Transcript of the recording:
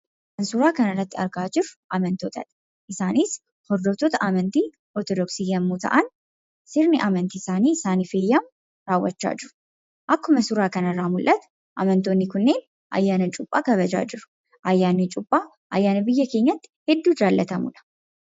Kan suuraa kanarratti argaa jirru amantootadha. Isaanis hordoftoota amantii Orthodoksii yommuu ta'an, waan sirni amantii isaanii isaanif eeyyamu raawwachaa jiru. Akkuma suuraa kanarratti mul'atu amantootni kunniin ayyaana cuuphaa kabajàa jiru. Ayyaanni cuuphaa ayyaana biyya keenyatti hedduu jaallatamudha.